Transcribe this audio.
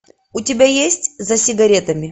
у тебя есть за сигаретами